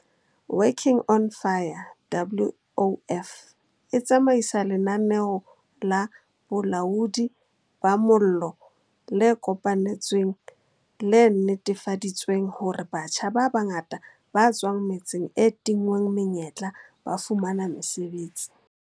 Working on Fire, WOF, e tsamaisa lenaneo la bolaodi ba mollo le kopanetsweng le netefaditseng hore batjha ba bangata ba tswang metseng e tinngweng menyetla ba fumana mosebetsi.